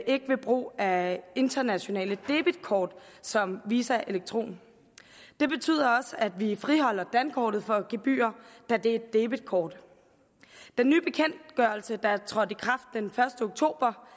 ikke ved brug af internationale debetkort som visa electron det betyder også at vi friholder dankortet for gebyrer da det er et debetkort den nye bekendtgørelse der er trådt i kraft den første oktober